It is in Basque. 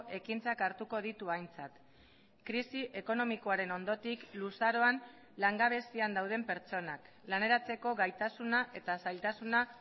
ekintzak hartuko ditu aintzat krisi ekonomikoaren ondotik luzaroan langabezian dauden pertsonak laneratzeko gaitasuna eta zailtasuna